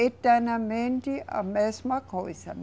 Eternamente a mesma coisa, né?